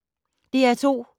DR2